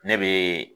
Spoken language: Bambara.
Ne bɛ